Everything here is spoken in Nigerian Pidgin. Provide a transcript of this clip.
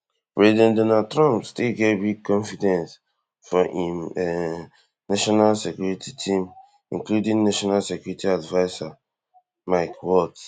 president trump still get big confidence for im um national security team including national security advisor mike waltz